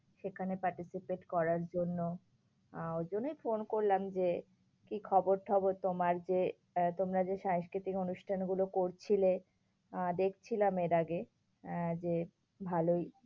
সেখানে participate করার জন্য, আঃ ঐজন্যই ফোন করলাম যে, কি খবর টবর তোমার? যে তোমরা যে সাংস্কৃতিক অনুষ্ঠান গুলো করছিলে, আহ দেখছিলাম এর আগে আঁ যে ভালোই